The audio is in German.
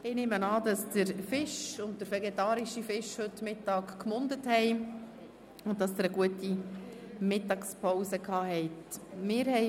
Ich nehme an, dass der Fisch und der vegetarische Fisch beim Mittagessen gemundet und Sie eine gute Mittagspause gehabt haben.